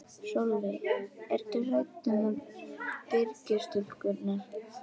Sólveig: Ertu hrædd um Byrgis-stúlkurnar?